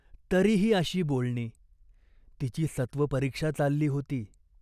तरी ही अशी बोलणी. तिची सत्त्वपरीक्षा चालली होती.